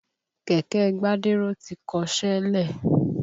Kẹ̀kẹ́ Gbádéró ti kọṣẹ́ lẹ̀.